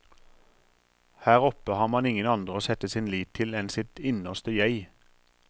Her oppe har man ingen andre å sette sin lit til enn sitt innerste jeg.